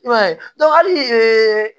I b'a ye hali